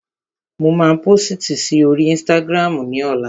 Mo máa pósìtì si oríi ísítágírámù ní ọlá